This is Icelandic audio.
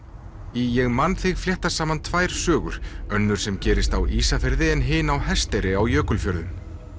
í ég man þig fléttast saman tvær sögur önnur sem gerist á Ísafirði en hin á Hesteyri á Jökulfjörðum